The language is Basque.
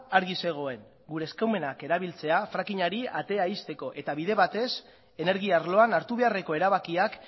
argi zegoen gure eskumenak erabiltzea fracking ari atea ixteko eta bide batez energia arloan hartu beharreko erabakiak